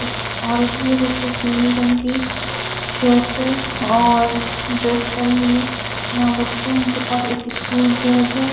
एक औरत भी जिसने पीले रंग की स्वेटर और ड्रेस पहनी हुई है यहां बच्चे हैं उनके पास स्कूल बैग है।